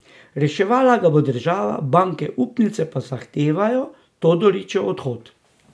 Reševala ga bo država, banke upnice pa zahtevajo Todorićev odhod.